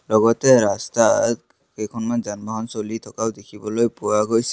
লগতে ৰাস্তাত কেইখনমান যান বাহন চলি থকাও দেখিবলৈ পোৱা গৈছে।